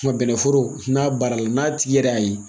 bɛnɛ foro n'a baara la n'a tigi yɛrɛ y'a ye,